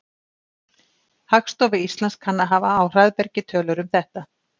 Hagstofa Íslands kann að hafa á hraðbergi tölur um þetta.